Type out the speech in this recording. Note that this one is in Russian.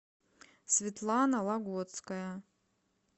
светлана лагоцкая